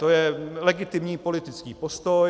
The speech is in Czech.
To je legitimní politický postoj.